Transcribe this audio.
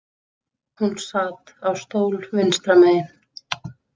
Hún sat á stól vinstra megin.